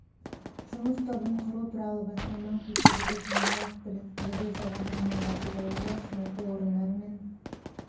жұмыс тобын құру туралы бастама көтерді сондай-ақ біліктілігі жоғары мамандарды даярлау үшін оқу орындары мен